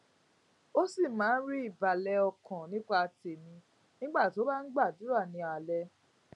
ó sì máa ń rí ìbàlè ọkàn nípa tèmí nígbà tó bá ń gbàdúrà ní alaalé